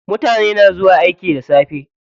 Mutane na zuwa aiki da safe.